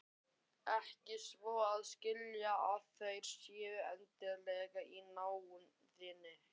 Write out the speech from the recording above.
Ekki svo að skilja að þeir séu endilega í náðinni.